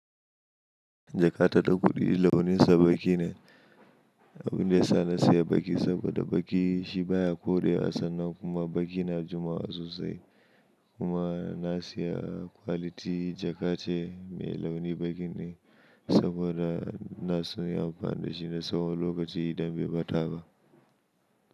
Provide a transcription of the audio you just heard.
Jaka ta da kuɗi launinsa baƙi ne. Abin da ya sa na sayi baƙi saboda baƙi shi baya koɗe wa sannan kuma baƙi na jimawa sosai. Kuma na saya kwaliti jaka ce mai launi baƙi ne saboda Inaso nayi amfani da shi na tsawon lokaci idan bai bata ba.